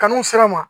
Kanu sera